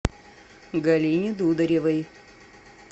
галине дударевой